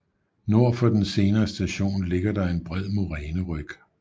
Nord for den senere station ligger der en bred moræneryg